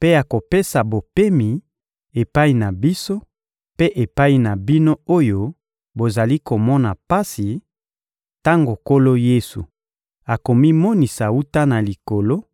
mpe akopesa bopemi epai na biso mpe epai na bino oyo bozali komona pasi, tango Nkolo Yesu akomimonisa wuta na Likolo,